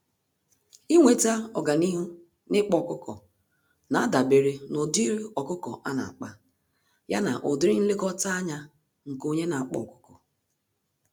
Ịnweta ọganihu n'ịkpa ọkụkọ, nadabere n'ụdịrị ọkụkọ ana-akpa, ya na ụdịrị nlekọta ányá nke onye n'akpa ọkụkọ.